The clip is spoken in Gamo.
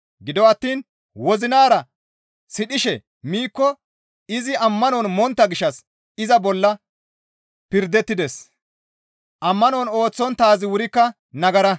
Gido attiin wozinara sidhishe miikko izi ammanon montta gishshas iza bolla pirdettides; ammanon ooththonttaazi wurikka nagara.